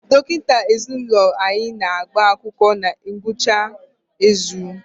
Dọkịta ezinụlọ anyị na-agba akwụkwọ na ngwụcha izu a.